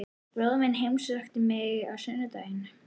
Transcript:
Bróðir minn heimsótti mig á sunnudaginn.